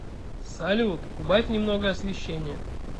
салют убавь немного освещение